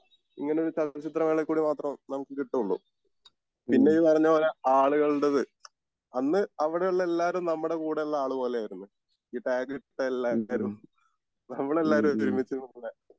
ഇങ്ങനെ ഒരു ചലച്ചിത്ര മേളകളിൽ കൂടെ മാത്രംനമുക്ക് കിട്ടൊള്ളു പിന്നെ ഈ പറഞ്ഞ പോലെ ആളുകളുടേത് അന്ന്അവിടെ ഉള്ള എല്ലാവരും നമ്മുടെ കൂടെ ഉള്ള ആൾ പോലെ ആയിരുന്നു ഈ ടാഗ് ഇട്ട എല്ലാരും നമ്മൾ എല്ലാരും ഒരുമിച്ച് പോകുന്നെ